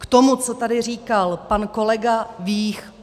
K tomu, co tady říkal pan kolega Vích.